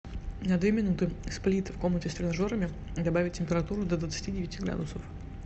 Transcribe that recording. на две минуты сплит в комнате с тренажерами добавить температуру до двадцати девяти градусов